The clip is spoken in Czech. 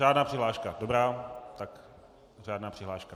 Řádná přihláška, dobrá, tak řádná přihláška.